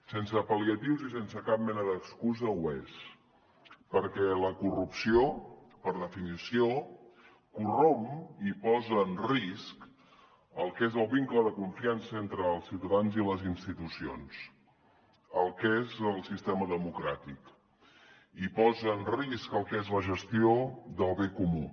sense pal·lia tius i sense cap mena d’excusa ho és perquè la corrupció per definició corromp i posa en risc el que és el vincle de confiança entre els ciutadans i les institucions el que és el sistema democràtic i posa en risc el que és la gestió del bé comú